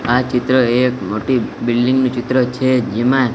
આ ચિત્ર એક મોટી બિલ્ડિંગ નું ચિત્ર છે જેમાં--